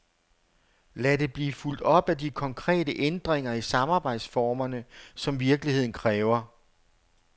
Lad det blive fulgt op af de konkrete ændringer i samarbejdsformerne, som virkeligheden kræver.